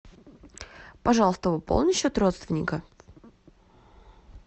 пожалуйста пополни счет родственника